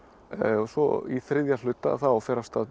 svo í þriðja hluta þá fer af stað